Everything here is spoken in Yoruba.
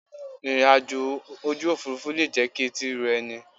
Ìrìn àjò ojú òfuurufú le jẹ́ kí etí ro ẹni.